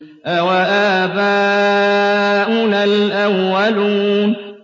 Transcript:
أَوَآبَاؤُنَا الْأَوَّلُونَ